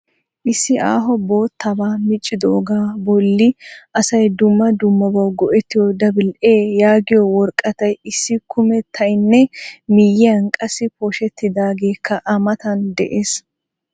Issi aaho boottabaa miccidoogaa bolli asay dumma dummabawu go'ettiyo doubla A yaagiyo woraqqatay issi kumettaynne miyiyan qassi pooshettidageekka a matan dees.